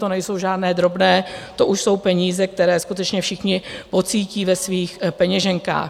To nejsou žádné drobné, to už jsou peníze, které skutečně všichni pocítí ve svých peněženkách.